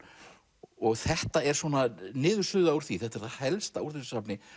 og þetta er svona niðursuða úr því þetta er það helsta úr þessu safni